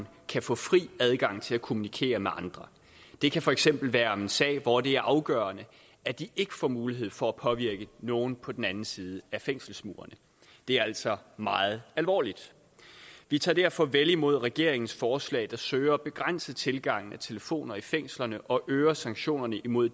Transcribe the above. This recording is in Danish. kan få fri adgang til at kommunikere med andre det kan for eksempel være om en sag hvor det er afgørende at de ikke får mulighed for at påvirke nogen på den anden side af fængselsmurene det er altså meget alvorligt vi tager derfor vel imod regeringens forslag der søger at begrænse tilgangen af telefoner i fængslerne og som øger sanktionerne imod